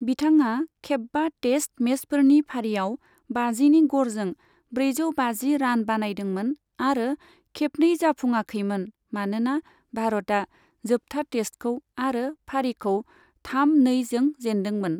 बिथाङा खेब्बा टेस्ट मेचफोरनि फारियाव बाजिनि गरजों ब्रैजौ बाजि रान बानायदोंमोन आरो खेबनै जाफुङाखैमोन मानोना भारतआ जोबथा टेस्टखौ आरो फारिखौ थाम नै जों जेनदोंमोन।